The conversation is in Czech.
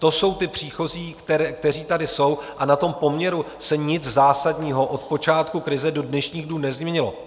To jsou ti příchozí, kteří tady jsou, a na tom poměru se nic zásadního od počátku krize do dnešních dnů nezměnilo.